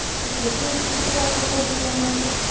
okay fridge किती वर्षाचा जुना आहे